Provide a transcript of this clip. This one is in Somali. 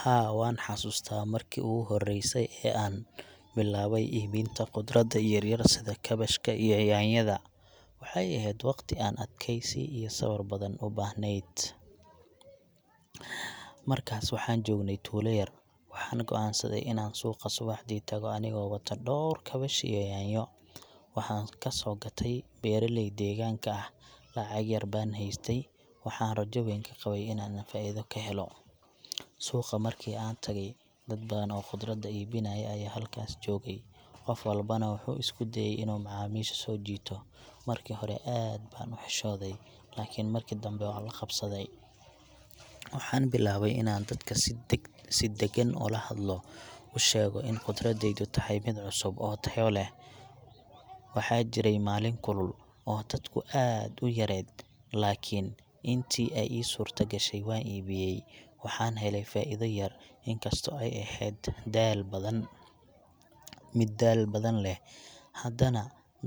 Haa, waan xasuustaa markii ugu horreysay ee aan bilaabay iibinta khudradda yaryar sida kaabashka iyo yaanyada. Waxay ahayd waqti aan adkeysi iyo sabar badan u baahneyd. Markaas waxaan joognay tuulo yar, waxaana go’aansaday inaan suuqa subaxdii tago anigoo wata dhowr kaabash iyo yaanyo. Waxaan ka soo gatay beeraley deegaanka ah. Lacag yar baan haystay, waxaan rajo weyn ka qabay in aan faa’iido ka helo. Suuqa markii aan tagay, dad badan oo khudrad iibinaya ayaa halkaas joogay, qof walbana wuxuu isku dayayay inuu macaamiisha soo jiito. Markii hore aad baan u xishooday, laakiin marki dambe waan la qabsaday. Waxaan bilaabay inaan dadka si deggan ula hadlo, u sheego in khudraddaydu tahay mid cusub oo tayo leh. Waxaa jiray maalin kulul oo dadku aad u yareed, laakiin intii ay ii suurtagashay waan iibiyay, waxaan helay faa’iido yar. In kastoo ay ahayd daal badan, mid daal badan leh, haddana